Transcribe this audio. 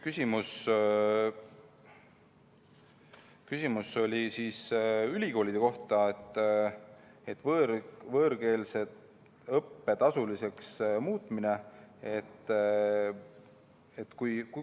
Küsimus oli ülikoolide kohta, võõrkeelse õppe tasuliseks muutmise kohta.